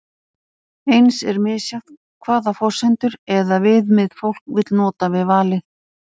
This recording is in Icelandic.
eins er misjafnt hvaða forsendur eða viðmið fólk vill nota við valið